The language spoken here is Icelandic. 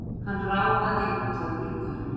Hann ráfaði út að glugganum.